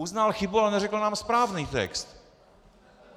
Uznal chybu, ale neřekl nám správný text!